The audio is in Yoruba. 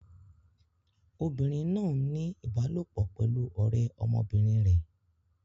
Obìnrin náà ń ní ìbálòpọ̀ pẹ̀lú ọ̀rẹ́ ọmọbìnrin rẹ̀.